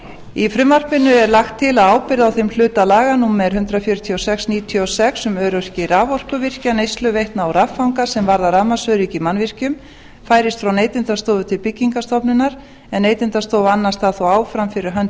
í frumvarpinu er lagt til að ábyrgð á þeim hluta laganna númer hundrað fjörutíu og sex nítján hundruð níutíu og sex um öryggi raforkuvirkja neysluveitna og raffanga sem varðar rafmagnsöryggi í mannvirkjum færist frá neytendastofu til byggingarstofnunar en neytendastofa annast það þó áfram fyrir hönd